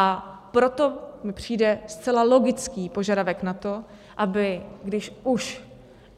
A proto mi přijde zcela logický požadavek na to, aby - když už